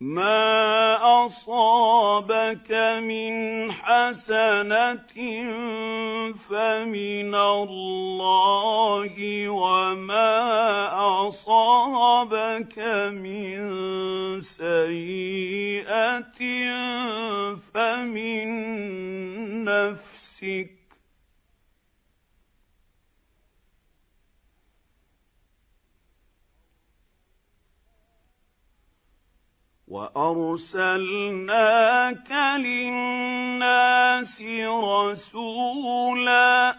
مَّا أَصَابَكَ مِنْ حَسَنَةٍ فَمِنَ اللَّهِ ۖ وَمَا أَصَابَكَ مِن سَيِّئَةٍ فَمِن نَّفْسِكَ ۚ وَأَرْسَلْنَاكَ لِلنَّاسِ رَسُولًا ۚ